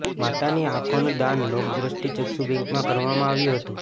માતાની આંખોનું દાન લોક દ્રષ્ટિ ચક્ષુ બેંકમાં કરવામાં આવ્યું હતું